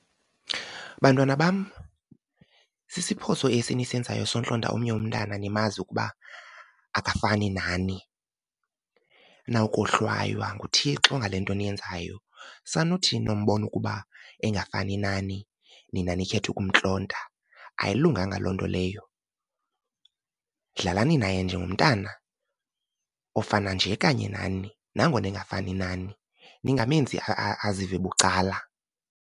Bantwana bam, sisiphoso esi nisenzayo sontlonta omnye umntana nimazi ukuba akafani nani. Nawukohlwaywa nguThixo ngale nto niyenzayo. Sanuthi nombona ukuba engafani nani nina nikhethe ukumntlonta, ayilunganga loo nto leyo. Dlalani naye njengomntana ofana nje kanye nani nangona engafani nani, ningamenzi azive bucala.